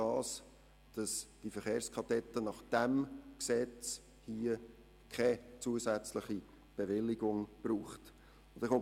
Das heisst, dass die Verkehrskadetten gemäss diesem Gesetz keine zusätzliche Bewilligung brauchen.